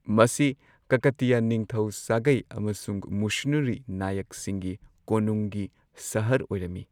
ꯃꯁꯤ ꯀꯀꯇꯤꯌꯥ ꯅꯤꯡꯊꯧ ꯁꯥꯒꯩ ꯑꯃꯁꯨꯡ ꯃꯨꯁꯨꯅꯨꯔꯤ ꯅꯥꯌꯛꯁꯤꯡꯒꯤ ꯀꯣꯅꯨꯡꯒꯤ ꯁꯍꯔ ꯑꯣꯏꯔꯝꯃꯤ꯫